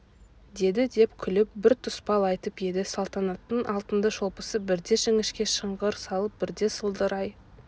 деді деп күліп бір тұспал айтып еді салтанаттың алтынды шолпысы бірде жіңішке шыңғыр салып бірде сылдырай